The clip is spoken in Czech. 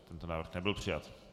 Tento návrh nebyl přijat.